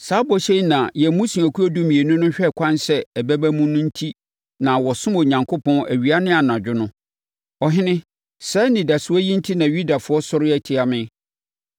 Saa bɔhyɛ yi na yɛn mmusuakuo dumienu hwɛ ɛkwan sɛ ɛbɛba mu no enti na wɔsom Onyankopɔn awia ne anadwo no. Ɔhene, saa anidasoɔ yi enti na Yudafoɔ asɔre atia me yi.